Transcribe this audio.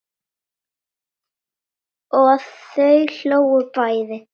Og þau hlógu bæði.